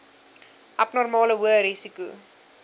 abnormale hoë risiko